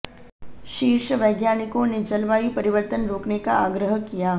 शीर्ष वैज्ञानिकों ने जलवायु परिवर्तन रोकने का आग्रह किया